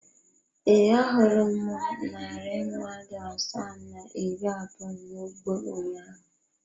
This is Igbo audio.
Ee, ahụrụ m narị mmadụ asaa na iri abụọ n’ugbo ụnyaahụ.